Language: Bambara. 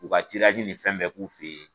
U ka ni fɛn bɛɛ k'u fe ye.